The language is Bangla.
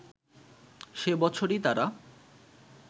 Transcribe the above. সে বছরই তারা